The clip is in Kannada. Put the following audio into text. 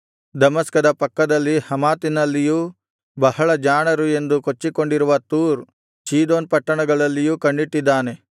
ದಮಸ್ಕದ ಪಕ್ಕದಲ್ಲಿನ ಹಮಾತಿನಲ್ಲಿಯೂ ಬಹಳ ಜಾಣರು ಎಂದು ಕೊಚ್ಚಿಕೊಂಡಿರುವ ತೂರ್ ಚೀದೋನ್ ಪಟ್ಟಣಗಳಲ್ಲಿಯೂ ಕಣ್ಣಿಟ್ಟಿದ್ದಾನೆ